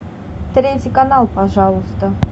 третий канал пожалуйста